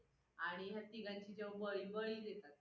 आणि ह्या तिघांची जेंव्हा बळी देतात.